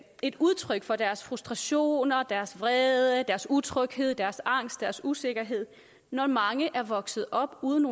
et udtryk for deres frustrationer deres vrede deres utryghed deres angst deres usikkerhed når mange er vokset op uden